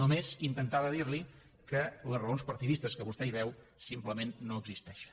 només intentava dir li que les raons partidistes que vostè hi veu simplement no existeixen